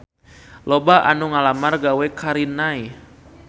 Loba anu ngalamar gawe ka Rinnai